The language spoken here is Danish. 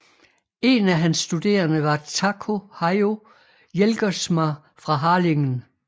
En af hans studerende var Taco Hayo Jelgersma fra Harlingen